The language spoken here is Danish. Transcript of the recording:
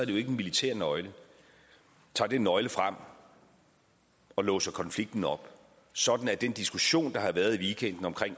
det jo ikke en militær nøgle tager den nøgle frem og låser konflikten op sådan at den diskussion der har været i weekenden om